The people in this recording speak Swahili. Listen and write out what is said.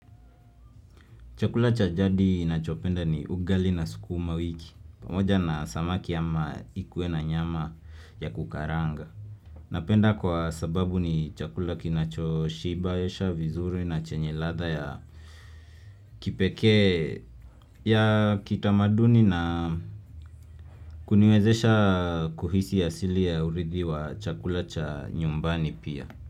Chakula cha jadi ninachopenda ni ugali na sukuma wiki, pamoja na samaki ama ikuwe na nyama ya kukaranga. Napenda kwa sababu ni chakula kinacho shibisha vizuri na chenye ladha ya kipekee ya kiutamaduni na kuniwezesha kuhisi asili ya urithi wa chakula cha nyumbani pia.